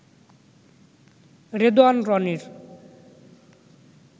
রেদওয়ান রনির